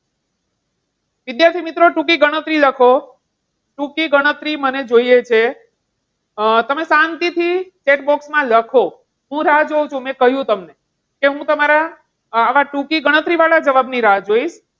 વિદ્યાર્થી મિત્રો ટૂંકી ગણતરી લખો ટૂંકી ગણતરી મને જોઈએ છે. અમ તમે શાંતિથી text book માં લખો હું રાહ જોઉં છું મેં કહ્યું તમને કે હું તમારા આવા ટૂંકી ગણતરી વાળા જવાબની રાહ જોઇશ.